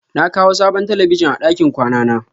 Na kawo sabon talabijin a ɗakin kwana na.